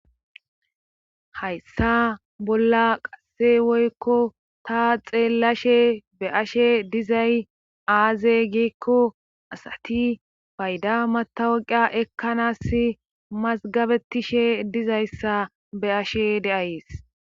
Hayssa bolla qasse woykko ta xeellashe be ashe dizay aaze giikko asati payda matawaqia ekkanas mazgabetishe dizayssa be ashe deayes.